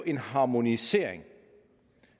en harmonisering